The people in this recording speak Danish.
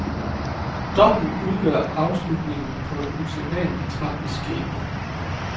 Dommen udgør afslutningen på en usædvanlig tragisk skæbne.